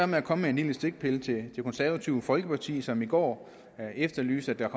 med at komme med en lille stikpille til det konservative folkeparti som i går efterlyste at der